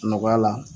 Nɔgɔya la